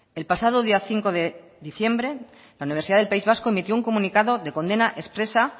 el pasado día cinco de diciembre la universidad del país vasco emitió un comunicado de condena expresa